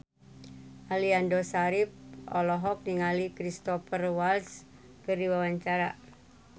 Aliando Syarif olohok ningali Cristhoper Waltz keur diwawancara